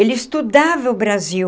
Ele estudava o Brasil.